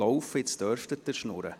jetzt dürfen Sie schwatzen.